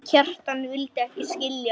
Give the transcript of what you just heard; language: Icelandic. Kjartan en vildi ekki skilja.